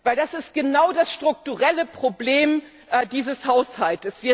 Denn das ist genau das strukturelle Problem dieses Haushalts.